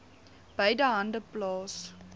beide hande plaas